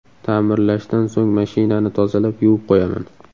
Ta’mirlashdan so‘ng mashinani tozalab, yuvib qo‘yaman.